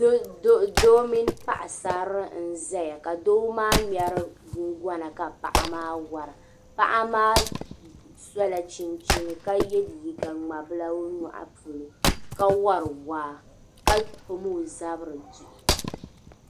Doo mini paɣ'sarili n-zaya ka doo maa ŋmɛri guŋgɔna ka paɣa maa wara paɣa maa sola chinchini ka ye liiga ŋmabila o nyɔɣu polo ka wari waa ka pam o zabiri duhi.